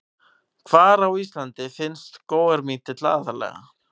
Hvar á Íslandi finnst skógarmítill aðallega?